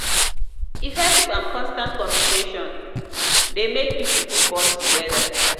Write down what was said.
effective and constant communication de make pipo fit bond together